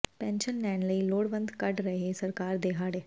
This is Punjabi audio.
ਪੈਨਸ਼ਨ ਲੈਣ ਲਈ ਲੋੜਵੰਦ ਕੱਢ ਰਹੇ ਸਰਕਾਰ ਦੇ ਹਾੜੇ